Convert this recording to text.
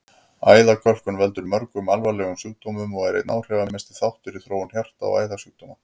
Æðakölkun veldur mörgum alvarlegum sjúkdómum og er einn áhrifamesti þáttur í þróun hjarta- og æðasjúkdóma.